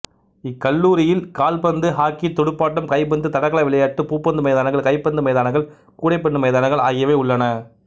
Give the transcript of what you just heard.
இக்கல்லூரியியல் கால்பந்து ஹாக்கி துடுப்பாட்டம் கைபந்து தடகள விளையாட்டு பூப்பந்து மைதானங்கள் கைப்பந்து மைதானங்கள் கூடைப்பந்து மைதானங்கள் ஆகியவை உள்ளன